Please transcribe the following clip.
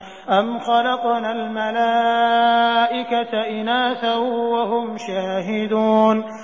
أَمْ خَلَقْنَا الْمَلَائِكَةَ إِنَاثًا وَهُمْ شَاهِدُونَ